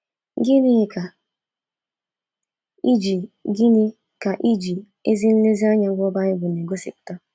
Gịnị ka ịji Gịnị ka ịji ezi nlezianya gụọ Baịbụl na-egosipụta?